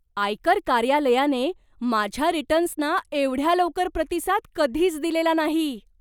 आयकर कार्यालयाने माझ्या रिटर्न्सना एवढ्या लवकर प्रतिसाद कधीच दिलेला नाही.